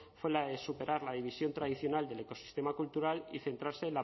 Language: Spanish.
fue la de superar la división tradicional del ecosistema cultural y centrarse